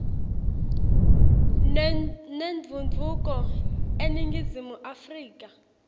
nentfutfuko eningizimu afrika